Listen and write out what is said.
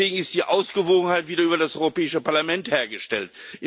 Deswegen ist die Ausgewogenheit wieder über das Europäische Parlament hergestellt.